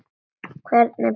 Hvernig brauð viltu?